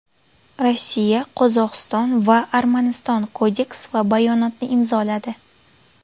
Rossiya, Qozog‘iston va Armaniston kodeks va bayonotni imzoladi.